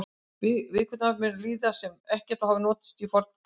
Vikudagar munu lítið sem ekkert hafa verið notaðir í forngrísku.